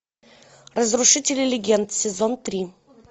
разрушители легенд сезон три